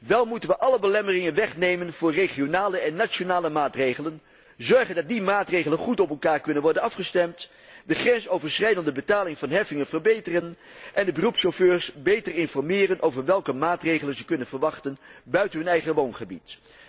Wel moeten we alle belemmeringen wegnemen voor regionale en nationale maatregelen, zorgen dat die maatregelen goed op elkaar kunnen worden afgestemd, de grensoverschrijdende betaling van heffingen verbeteren en de beroepschauffeurs beter informeren over welke maatregelen ze kunnen verwachten buiten hun eigen woongebied.